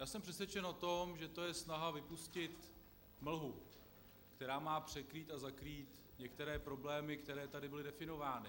Já jsem přesvědčen o tom, že to je snaha vypustit mlhu, která má překrýt a zakrýt některé problémy, které tady byly definovány.